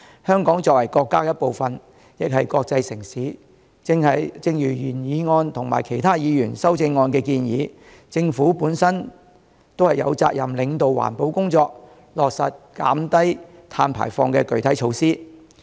香港作為國家的一部分亦是國際城市，正如原議案及其他議員的修正案的建議，政府有責任領導環保工作，落實減低碳排放的具體措施。